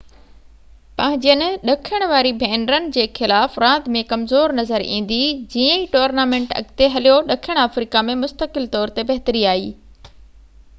پنهنجين ڏکڻ واري ڀينرن جي خلاف راند ۾ ڪمزور نظر ايندي جيئن ئي ٽورنامينٽ اڳتي هليو ڏکڻ آفريڪا ۾ مستقل طور تي بهتري آئي